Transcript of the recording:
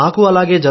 మాకు అలాగే